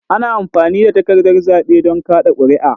Ana amfani da takardar zaɓe don kaɗa ƙuri'a.